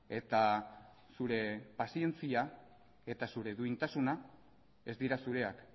eta zure pazientzia eta zure duintasuna ez dira zureak